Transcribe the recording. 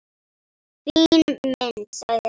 Fín mynd, sagði hún.